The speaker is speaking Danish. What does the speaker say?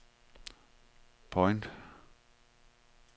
point